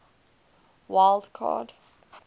wild card